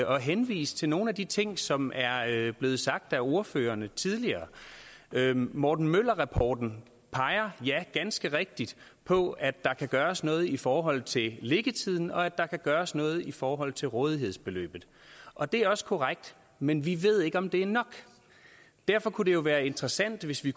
og henvise til nogle af de ting som er blevet sagt af ordførerne tidligere morten møller rapporten peger ganske rigtigt på at der kan gøres noget i forhold til liggetiden og at der kan gøres noget i forhold til rådighedsbeløbet og det er også korrekt men vi ved ikke om det er nok derfor kunne det jo være interessant hvis vi